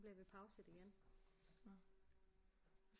Nu bliver vi pauset igen